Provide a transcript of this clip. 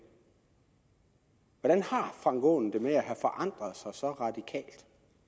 hvordan har herre frank aaen det med at have forandret sig så radikalt